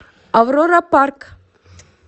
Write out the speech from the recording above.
аврора парк